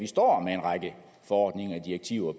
står med en række forordninger og direktiver